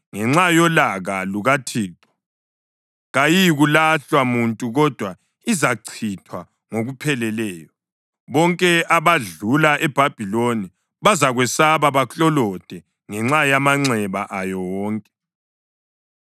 Ngenxa yolaka lukaThixo kayiyikuhlalwa muntu kodwa izachithwa ngokupheleleyo. Bonke abadlula eBhabhiloni bazakwesaba baklolode ngenxa yamanxeba ayo wonke.